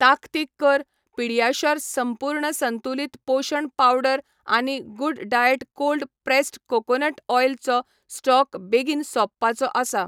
ताकतीक कर, पीडियाश्योर संपूर्ण संतुलित पोशण पावडर आनी good diet cold pressed coconut oil चो स्टॉक बेगीन सोंपपाचो आसा.